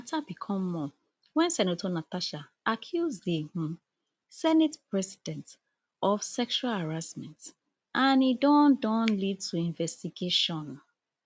matter become more wen senator natasha accuse di um senate president of sexual harassment and e don don lead to investigation